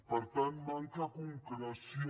per tant manca concreció